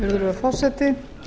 virðulegur forseti